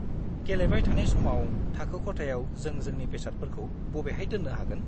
गेलेबाय थानाय समाव, थाखो खथायाव जों जोंनि बेसादफोरखौ बबेहाय दोननो हागोन?